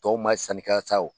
Tɔw man sanni kɛ yan sa o.